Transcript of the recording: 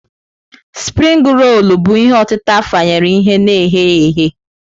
Spring rolu bụ ihe otịtà afanyere ihe na ghe ya eghe.